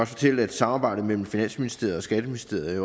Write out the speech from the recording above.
fortælle at samarbejdet mellem finansministeriet og skatteministeriet